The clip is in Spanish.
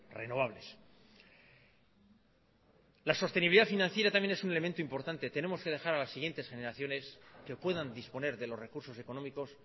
renovables la sostenibilidad financiera también es un elemento importante tenemos que dejar a las siguientes generaciones que puedan disponer de los recursos económicos